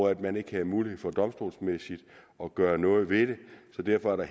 at man ikke havde mulighed for domstolsmæssigt at gøre noget ved det så derfor er